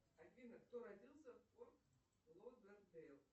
афина кто родился в форт лодердейл